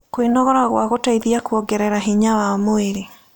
Kwĩnogora gwa gũteĩthĩa kũongerera hinya wa mwĩrĩ